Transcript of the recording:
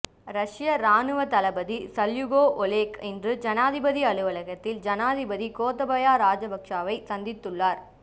ரஷ்ய இராணுவ தளபதி சல்யுகோ ஒலெக் இன்று ஜனாதிபதி அலுவலகத்தில் ஜனாதிபதி கோத்தபய்யா ராஜபக்ஷவை சந்தித்துள்ளார்